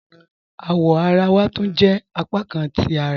Awọ̀ àrà wà túń jẹ́ apákàn ti àrà